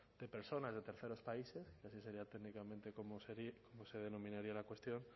de personas de terceros países que así sería técnicamente como se denominaría la cuestión